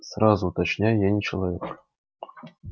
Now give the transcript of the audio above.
сразу уточняю я не человек